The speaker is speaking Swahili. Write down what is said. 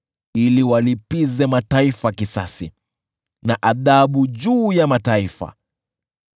ili walipize mataifa kisasi na adhabu juu ya mataifa,